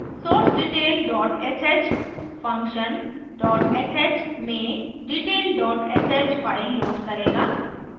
source detail dot sh function dot sh में detail dot sh file load करेगा